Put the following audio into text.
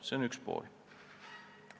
See on üks tegur.